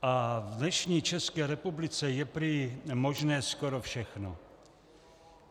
A v dnešní České republice je prý možné skoro všechno.